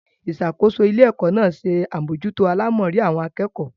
Ìṣàkóso ilé-ẹ̀kọ́ náà se àmójútó àlámọrí àwọn akẹ́kọ̀ọ́.